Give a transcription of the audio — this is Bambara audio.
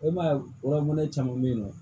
E ma ye wa mɔnɛ caman bɛyinɔ